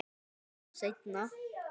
Meira um það seinna.